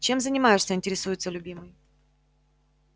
чем занимаешься интересуется любимый